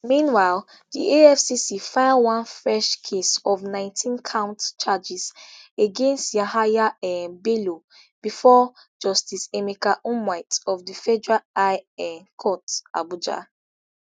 meanwhile di efcc file one fresh case of nineteencount charges against yahaya um bello bifor justice emeka nwite of the federal high um court abuja